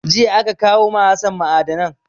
Jiya aka kawo ma Hassan ma'adanai.